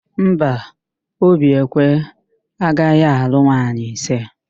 Mba, Obiekwe agaghị alụ nwaanyị ise.